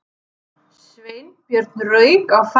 Sveinbjörn rauk á fætur.